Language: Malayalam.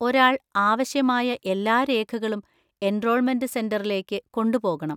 ഒരാൾ ആവശ്യമായ എല്ലാ രേഖകളും എൻറോൾമെന്‍റ് സെന്‍ററിലേക്ക് കൊണ്ടുപോകണം.